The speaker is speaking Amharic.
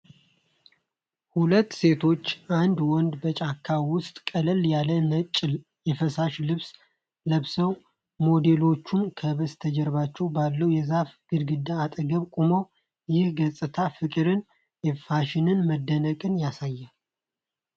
ሁለት ሴቶችና አንድ ወንድ በጫካ ውስጥ ቀለል ያለ ነጭ የፋሽን ልብስ ለብሰዋል። ሞዴሎቹ ከበስተጀርባው ባለው የዛፍ ግንድ አጠገብ ቆመዋል። ይህ ገጽታ ፍቅርንና የፋሽን መደነቅን ያሳያል።